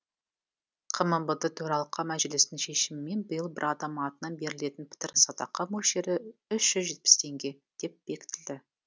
қмбд төралқа мәжілісінің шешімімен биыл бір адам атынан берілетін пітір садақа мөлшері үш жүз жетпіс теңге деп бекітілді